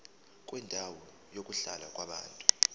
kwendawo yokuhlala yabantu